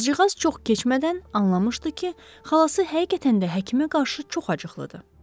Qızcığaz çox keçmədən anlamışdı ki, xalası həqiqətən də həkimə qarşı çox acıqlıdır.